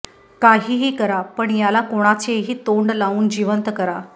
काहीही करा पण याला कोणाचेही तोंड लावून जीवंत करा